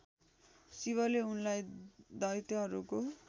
शिवले उनलाई दैत्यहरूको